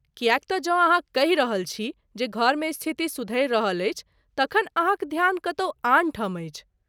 किएक तँ जँ अहाँ कहि रहल छी जे घरमे स्थिति सुधरि रहल अछि, तखन अहाँक ध्यान कतहु आन ठाम अछि।